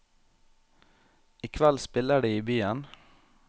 I kveld spiller de i byen.